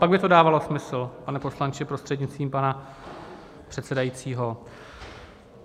Pak by to dávalo smysl, pane poslanče, prostřednictvím pana předsedajícího.